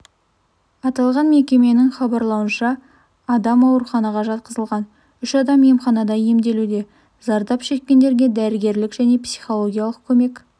аталған мекеменің хабарлауынша адам ауруханаға жатқызылған үш адам емханада емделуде зардап шеккендерге дәрігерлік және психологиялық көмек